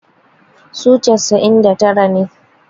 su casa'in da tara ne